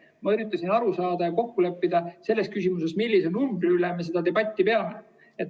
Ma üritasin aru saada ja kokku leppida selles küsimuses, millise numbri üle me seda debatti peame.